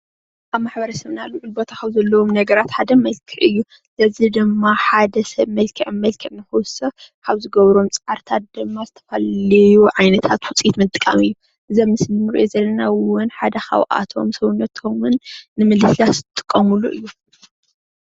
ኣብ ማሕበረሰብና ሉዑል ቦታ ሓደ መልክዕ እዩ። እዚ ድማ ሓደ ሰብ መልክዕ መልክዕ ንምውሳኽ ካብ ዝገብሮም ፃዕርታት ድማ ዝተዘፈላለዩ ዓይነታት ወፅኣት ምጥቃም እዩ እዚ ኣብ ምስሊ እንሪኦ ዘለና ድማ ሓደ ካብኣቶም ሰብነቶም ንምልስላስ ዝጥቀሙሎም ።